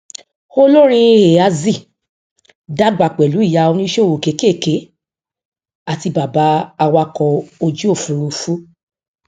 olórin eazi dàgbà pẹlú ìyá oníṣòwò kékèké àti bàbá awakọ ojúòfurufú